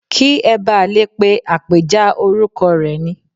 Kí ẹ ba lè pe àpèjá orúkọ rẹ ni.